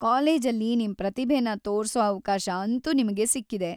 ಕಾಲೇಜಲ್ಲಿ ನಿಮ್‌ ಪ್ರತಿಭೆನ ತೋರ್ಸೋ ಅವ್ಕಾಶ ಅಂತೂ ನಿಮ್ಗೆ ಸಿಕ್ಕಿದೆ.